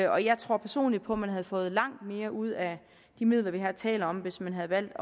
og jeg tror personlig på at man havde fået langt mere ud af de midler vi her taler om hvis man havde valgt